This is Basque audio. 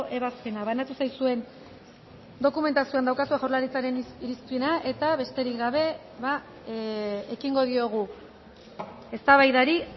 ebazpena banatu zaizuen dokumentazioan daukazue jaurlaritzaren irizpena eta besterik gabe ekingo diogu eztabaidari